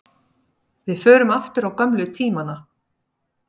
Við förum aftur á gömlu tímana.